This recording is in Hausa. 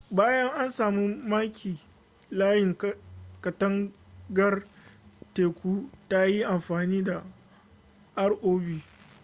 bayan an samu maki layin katangar teku ta yin amfani da rov